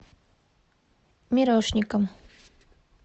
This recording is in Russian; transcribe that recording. мирошником